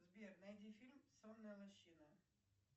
сбер найди фильм сонная лощина